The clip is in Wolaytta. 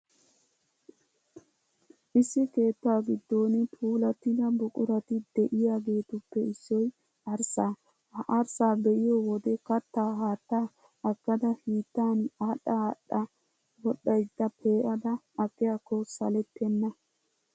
Issi keettaa giddon puulattida buqurati de'iyaageetuppe issoy arssaa. Ha arssaa be'iyo wode kattaa haattaa aggada hiittan aadhdha, aadhdha-wodhdhaydda pe'ada aqiyaakko salettenna.